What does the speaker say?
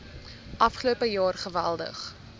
afgelope jaar geweldig